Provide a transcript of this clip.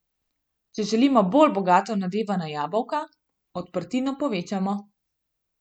Če želimo bolj bogato nadevana jabolka, odprtino povečamo.